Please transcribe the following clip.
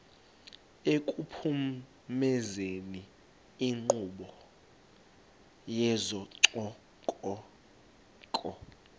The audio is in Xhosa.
ekuphumezeni inkqubo yezococeko